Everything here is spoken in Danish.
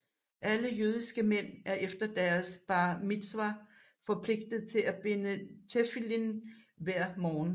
Alle jødiske mænd er efter deres bar mitzvah forpligtede til at binde tefillin hver morgen